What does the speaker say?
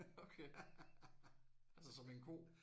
Okay. Altså som en ko?